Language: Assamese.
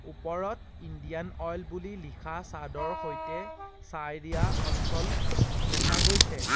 ওপৰত ইণ্ডিয়ান অইল বুলি লিখা চাদৰ সৈতে চায়েৰিয়া অঞ্চল দেখা গৈছে।